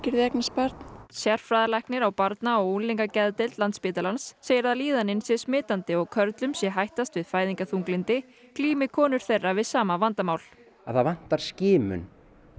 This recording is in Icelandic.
því að eignast barn sérfræðilæknir á barna og unglingageðdeild Landspítalans segir að líðanin sé smitandi og körlum sé hættast við fæðingarþunglyndi glími konur þeirra við sama vandamál það vantar skimun